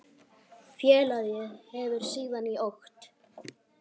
Félagið hefur síðan í okt